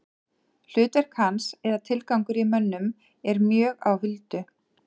Hlutverk hans eða tilgangur í mönnum er mjög á huldu.